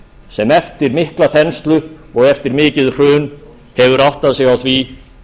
sem eftir mikla þenslu og eftir mikið hrun hefur áttað sig á því